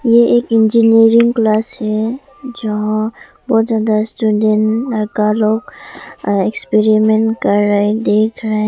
ये एक engineering class है जहां बहोत ज्यादा स्टूडेंट लड़का लोग एक्सपेरिमेंट कर रहे देख रहे--